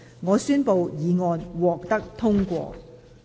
我宣布議案獲得通過。